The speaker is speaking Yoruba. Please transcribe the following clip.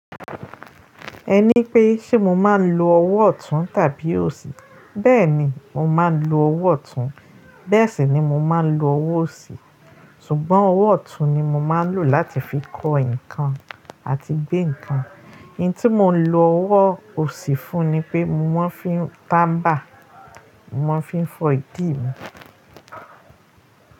Ẹ ní pé ṣe mo máa ń lo ọwọ́ ọ̀tún tàbí òsì? Bẹ́ẹ̀ni, mo máa ń lo ọwọ́ ọ̀tún, bẹ́ẹ̀ sì ni mo máa ń lo ọwọ́ òsì. Ṣùgbọ́n ọwọ́ ọ̀tún ni mo máa ń lò láti fi kọ nǹkan àti gbé nǹkan. Hun tí mo ń lo ọwọ́ òsì fún ni pé mo máa ń fi ń tàmbà, mo máa ń fi fọ́ ìdí mi.